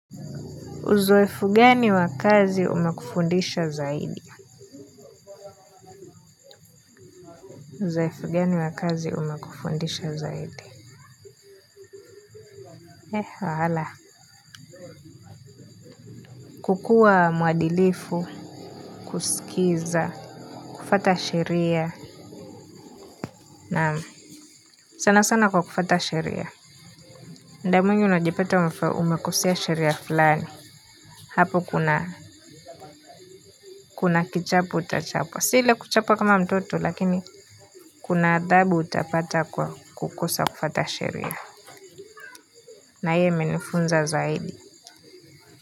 Uzoefu gani wa kazi umekufundisha zaidi? Kukuwa muadilifu, kuskiza, kufuata sheria, na sana sana kwa kufuata sheria. Mda mwingi unajipata umekosea sheria fulani. Hapo kuna, kuna kichapo utachapwa. Si ile kuchapwa kama mtoto lakini, kuna adhabu utapata kwa kukosa kufuata sheria. Na hiyo imenifunza zaidi.